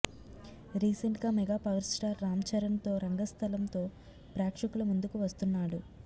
రీసెంట్గా mega power star రామ్చరణ్తో రంగస్థలంతో ప్రేక్షకుల ముందుకు వస్తున్నాడు